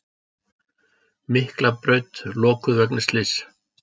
Miklabraut lokuð vegna slyss